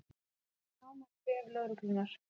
Sjá nánar á vef lögreglunnar